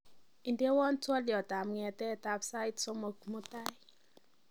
indewon twolyot ab n'getet ab sait somok mutai